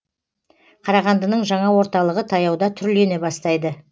қарағандының жаңа орталығы таяуда түрлене бастайды